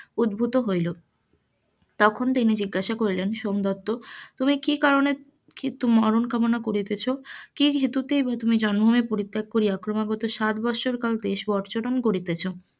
উদ্ভুত হইল, তখন তিনি জিজ্ঞাসা করিলেন সোমদত্ত তুমি কি কারণে মরন কামনা করিতেছ, কি হেতুতে তুমি জন্ম ভুমি পরিত্যাগ করিয়া ক্রমাগত সাত বছর পর্যটন করিতেছ,